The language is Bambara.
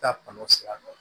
Taa kɔnɔ o sira dɔ